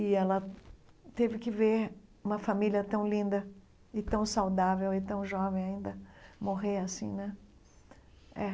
E ela teve que ver uma família tão linda e tão saudável e tão jovem ainda morrer assim, né? É